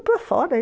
fora